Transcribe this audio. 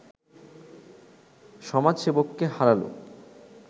সমাজসেবককে হারালো